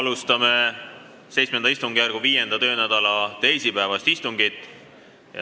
Alustame VII istungjärgu 5. töönädala teisipäevast istungit.